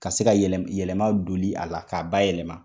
Ka se ka yɛlɛ yɛlɛma donni a la k'a bayɛlɛma.